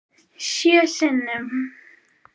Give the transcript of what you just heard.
Sjö sinnum.